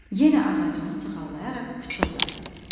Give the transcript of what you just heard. Yenə ağacını sığallayaraq pıçıldadı: